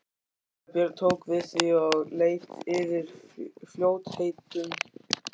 Síra Björn tók við því og leit yfir í fljótheitum.